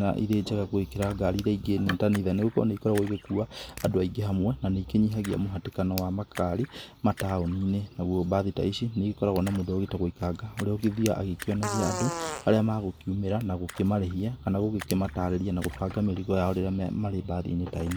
na, irĩ njega gũgĩkĩra ngari iria ingĩ ta nithani. Nĩgũkorwo nĩigĩkoragwo igĩkua Andũ aingĩ hamwe, na nĩ ikĩnyihagia mũhatĩkano wa makari mataoninĩ. Naguo mbathi ta ici, nĩigĩkoragwo na mũndũ ũrĩa ũgĩtagwo ikanga. Ũrĩa ũgĩthiaga agĩkĩonagia Andũ harĩa magũkiumĩra, na gũkĩmarĩhia kana gũkĩmatarĩria na gũbanga mĩrĩgo yao rĩrĩa marĩ mbathi-inĩ ta ĩno.